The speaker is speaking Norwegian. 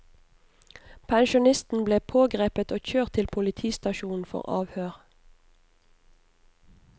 Pensjonisten ble pågrepet og kjørt til politistasjonen for avhør.